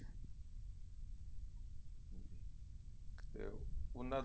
ਤੇ ਉਹਨਾ